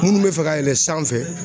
Minnu mɛ fɛ ka yɛlɛn sanfɛ.